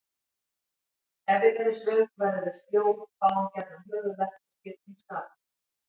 Ef við erum svöng verðum við sljó, fáum gjarnan höfuðverk og skiptum skapi.